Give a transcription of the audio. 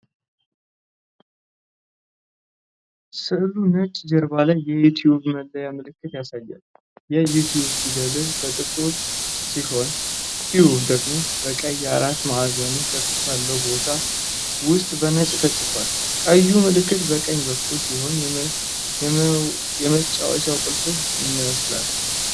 ስሉ ነጭ ጀርባ ላይ የዩቲዩብ (YouTube) መለያ ምልክት ያሳያል። የ"You" ፊደላት በጥቁር ሲሆን "Tube" ደግሞ በቀይ አራት ማዕዘን ቅርፅ ባለው ቦታ ውስጥ በነጭ ተጽፏል። ቀዩ ምልክት በቀኝ በኩል ሲሆን የመጫወቻ ቁልፍ ይመስላል።